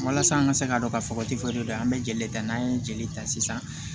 Walasa an ka se k'a dɔn ka fɔ ko de don an bɛ jeli ta n'an ye jeli ta sisan